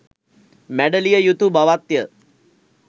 මැඩලිය යුතු බවත්ය.